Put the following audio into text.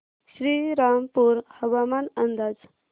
श्रीरामपूर हवामान अंदाज